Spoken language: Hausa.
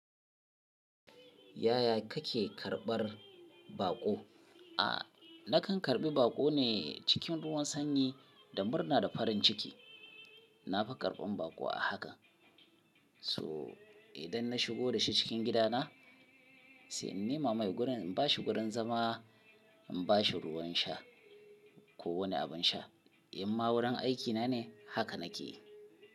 Yaya kake karɓar baƙo? A, nakan karɓi baƙo ne cikin ruwan sanyi da murna da farin ciki. Na fi karɓan baƙo a haka. So idan na shigo da shi cikin gidana, sai in nema mai gurin, in bashi gurin zama, in bashi ruwan sha ko wani abin sha. In ma wurin aikina ne haka nake yi.